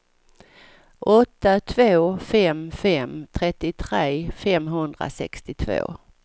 åtta två fem fem trettiotre femhundrasextiotvå